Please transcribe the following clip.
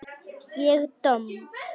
Ég domm?